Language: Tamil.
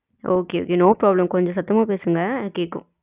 okay, okay no problem கொஞ்சம் சத்தமா பேசுங்க கேக்கும்